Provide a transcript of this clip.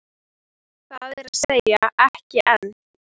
Það er að segja, ekki enn.